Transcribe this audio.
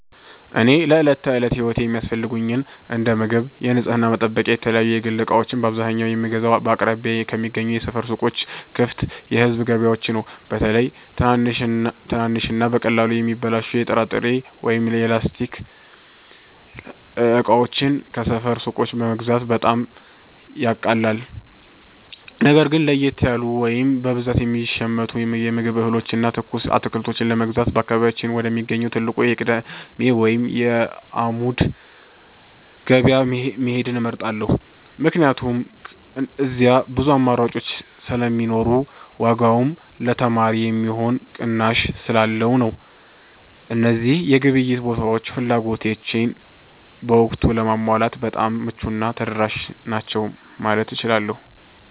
እኔ ለዕለት ተዕለት ሕይወቴ የሚያስፈልጉኝን እንደ ምግብ፣ የንጽሕና መጠበቂያና የተለያዩ የግል ዕቃዎችን በአብዛኛው የምገዛው በአቅራቢያዬ ከሚገኙ የሰፈር ሱቆችና ክፍት የሕዝብ ገበያዎች ነው። በተለይ ትናንሽና በቀላሉ የሚበላሹ የጥራጥሬ ወይም የላስቲክ ዕቃዎችን ከሰፈር ሱቆች መግዛት በጣም ያቃልላል። ነገር ግን ለየት ያሉ ወይም በብዛት የሚሸመቱ የምግብ እህሎችንና ትኩስ አትክልቶችን ለመግዛት በአካባቢያችን ወደሚገኘው ትልቁ የቅዳሜ ወይም የዓሙድ ገበያ መሄድን እመርጣለሁ፤ ምክንያቱም እዚያ ብዙ አማራጭ ስለሚኖርና ዋጋውም ለተማሪ የሚሆን ቅናሽ ስላለው ነው። እነዚህ የግብይት ቦታዎች ፍላጎቶቼን በወቅቱ ለማሟላት በጣም ምቹና ተደራሽ ናቸው ማለት እችላለሁ።